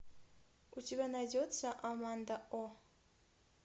у тебя найдется аманда о